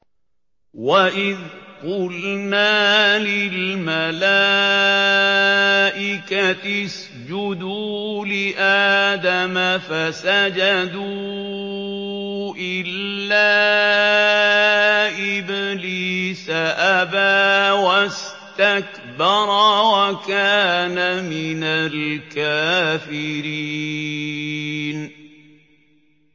وَإِذْ قُلْنَا لِلْمَلَائِكَةِ اسْجُدُوا لِآدَمَ فَسَجَدُوا إِلَّا إِبْلِيسَ أَبَىٰ وَاسْتَكْبَرَ وَكَانَ مِنَ الْكَافِرِينَ